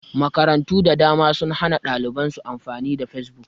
Makarantu da dama sun hana ɗaliban su amfani da fesbuk